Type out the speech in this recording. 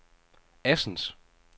Assens